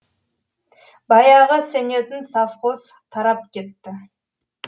баяғы сенетін совхоз тарап кетті